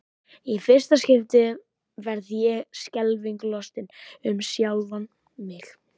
Í fyrsta skipti verð ég skelfingu lostin um sjálfa mig.